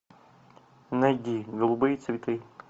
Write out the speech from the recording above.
найди голубые цветы